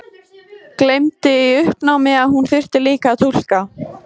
Gleymdi í uppnáminu að hún þurfti líka að túlka.